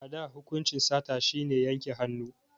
A da hukunci sata shi ne yanke hannu